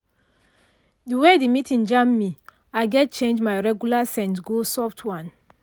the way the meeting jam me i gatz change my regular scent go soft one.